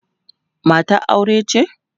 matar aure ce?